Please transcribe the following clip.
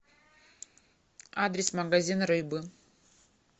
адрес магазин рыбы